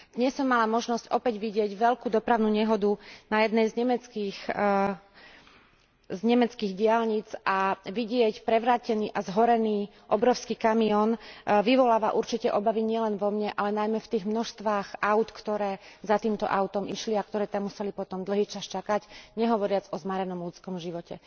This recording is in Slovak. Dnes som mala opäť možnosť vidieť veľkú dopravnú nehodu na jednej z nemeckých diaľnic a vidieť prevrátený a zhorený obrovský kamión vyvoláva určite obavy nielen vo mne, ale najmä v tých množstvách áut, ktoré za týmto autom išli a ktoré tam potom museli dlhý čas čakať, nehovoriac o zmarenom ľudskom živote.